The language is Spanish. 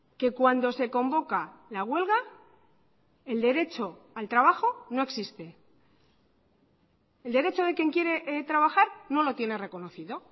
que cuando se convoca la huelga el derecho al trabajo no existe el derecho de quien quiere trabajar no lo tiene reconocido